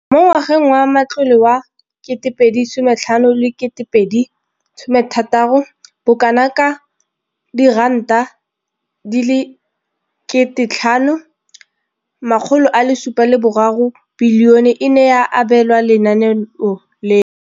Mo ngwageng wa matlole wa 2015 16, bokanaka R5 703 bilione e ne ya abelwa lenaane leno.